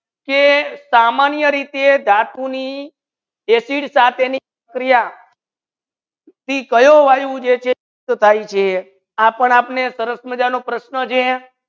કે સમાન્ય રીતિયે ધાતુ ની acid સાથે તી ક્રિયા થી કયો વાયુ જે છે તો થાઈ છે આપણ આપને તરફ મજાનો પ્રશ્ન છે.